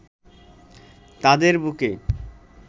তাদের বুকে